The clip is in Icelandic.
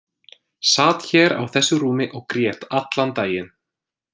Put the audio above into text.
Sat hér á þessu rúmi og grét allan daginn.